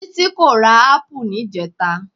Títí kò ra ápù níjẹta.